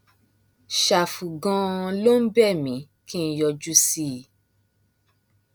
ṣàfù ganan ló ń bẹ mí kí n yọjú sí i